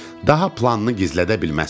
Daha planını gizlədə bilməzsən.